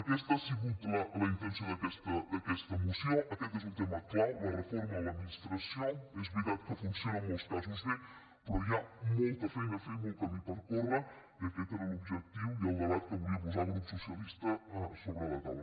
aquesta ha sigut la intenció d’aquesta moció aquest és un tema clau la reforma de l’administració és ve·ritat que funciona en molts casos bé però hi ha molta feina a fer i molt camí per córrer i aquest era l’objec·tiu i el debat que volia posar el grup socialista sobre la taula